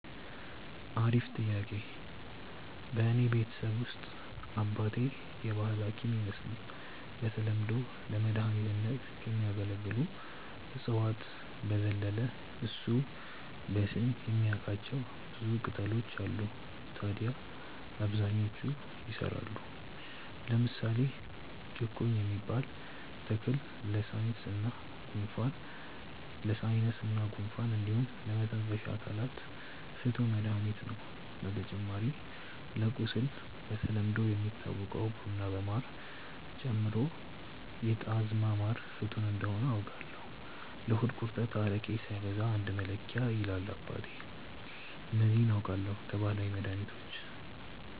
አሪፍ ጥያቄ፣ በእኔ ቤተሰብ ውስጥ አባቴ የባህል ሀኪም ይመስል በተለምዶ ለመድኃኒትነት ከሚያገለግሉ እፅዋት በዘለለ እሱ በስም የሚያቃቸው ብዙ ቅጣሎች አሉ ታድያ አብዛኞቹ ይሰራሉ። ለምሳሌ ጭቁኝ የሚባል ተክል ለሳይነስ እና ጉንፋን እንዲሁም ለመተንፈሻ አካላት ፍቱን መድሀኒት ነው። በተጨማሪ ለቁስል በተለምዶ የሚታወቀውን ቡና በማር ጨምሮ የጣዝማ ማር ፍቱን እንደሆነ አውቃለው። ለሆድ ቁርጠት አረቄ ሳይበዛ አንድ መለኪያ ይላል አባቴ። እነዚህ አውቃለው ከባህላዊ መድሀኒቶች።